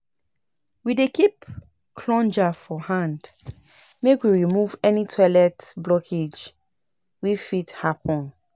We dey keep plunger for hand make we remove any toilet blockage wey fit happun.